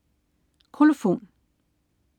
Kolofon